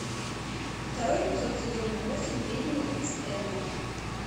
второй эпизод сезон восемь ведьмы ист энда